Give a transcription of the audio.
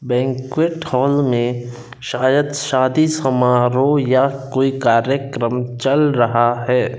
Banquet hall में शायद शादी समारोह या कोई कार्यक्रम चल रहा है।